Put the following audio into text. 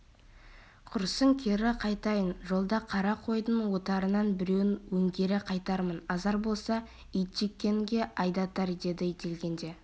құрысын кері қайтайын жолда қара қойдың отарынан біреуін өңгере қайтармын азар болса итжеккенге айдатар деді дегенде